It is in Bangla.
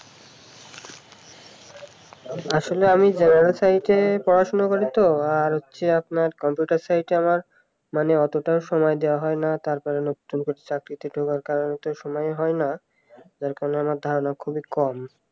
আসলে আমি generalscience নিয়ে পড়াশোনা করি তো আর হচ্ছে আপনার কম্পিউটার science আমার মানে অতটা সময় দেয়া হয় না তারপরে নতুন করে চাকরিতে ঢোকার কারণ তো সময় হয় না, তার কারণে আমার ধারণা খুবই কম